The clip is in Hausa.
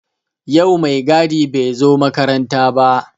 Yau mai gadi bai zo makaranta ba